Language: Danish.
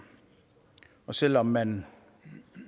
selv om man